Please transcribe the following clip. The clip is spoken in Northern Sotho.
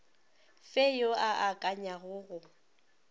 fe yo a akanyago go